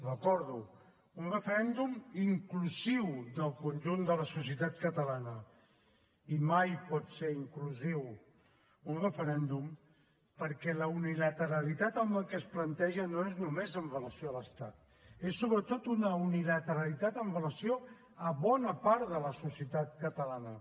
recordo un referèndum inclusiu del conjunt de la societat catalana i mai pot ser inclusiu un referèndum perquè la unilateralitat amb la que es planteja no és només amb relació a l’estat és sobretot una unilateralitat amb relació a bona part de la societat catalana